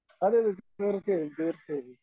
അതെ അതെ തീർച്ചയായും തീർച്ചയായും.